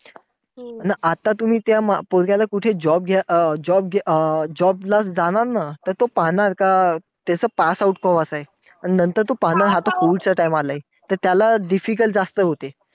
अन आता तुम्ही त्या पोरग्याला कुठे job अं job अं job ला जाणार ना, तर तो पाहणार का त्याचं pass out केव्हाच आहे. अन नंतर तो पाहणार आता COVID च्या time ला आहे. अन त्याला difficult जास्त होते.